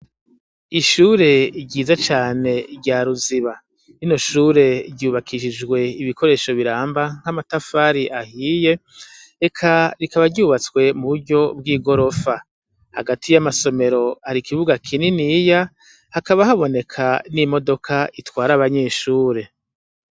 ishure ryiza cane rya ruziba rino shure ryubakishijwe ibikoresho biramba nk'amatafari ahiye reka rikaba ryubatswe mu buryo bw'igorofa hagati y'amasomero hari ikibuga kininiya hakaba haboneka n'imodoka itwara abanyeshure